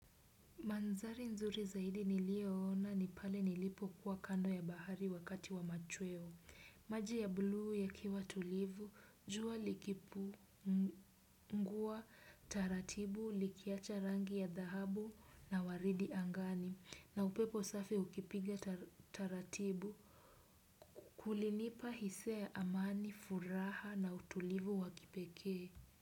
Mandhari nzuri zaidi niliyona ni pale nilipokuwa kando ya bahari wakati wa machweo. Maji ya bluu yakiwa tulivu, jua likipu, ngua, taratibu, likiacha rangi ya dhahabu na waridi angani, na upepo safi ukipiga taratibu, kulinipa hisia ya amani, furaha na utulivu wa kipekee.